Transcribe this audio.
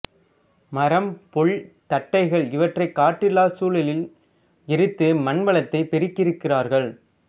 மரம் புல் தட்டைகள் இவற்றை காற்றில்லா சூழலில் எரித்து மண்வளத்தை பெருக்கியிருக்கிறார்கள்